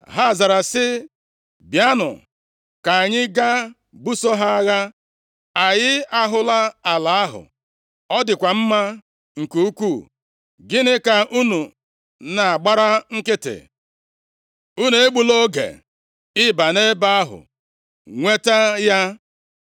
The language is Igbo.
Ha zara sị, “Bịanụ, ka anyị gaa buso ha agha. Anyị ahụla ala ahụ, ọ dịkwa mma nke ukwu. Gịnị ka unu na-agbara nkịtị? Unu egbula oge ịba nʼebe ahụ nweta ya.